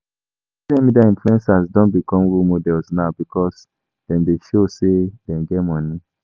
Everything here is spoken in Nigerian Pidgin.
Social media influencers don become role models now because dem de show say dem get money